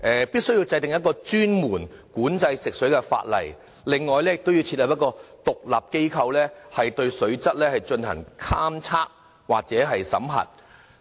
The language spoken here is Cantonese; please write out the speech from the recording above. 必須制定專門管制食水的法例，亦要設立一個獨立機構，對水質進行監測及審核。